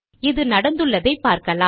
இது நடந்துள்ளதை பார்க்கலாம்